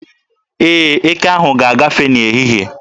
Ee, eke ahụ ga-agafe n'ehihie.